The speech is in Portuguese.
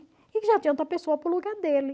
E que já tinha outra pessoa para o lugar dele.